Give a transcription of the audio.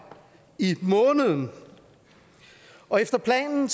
i måneden og efter planen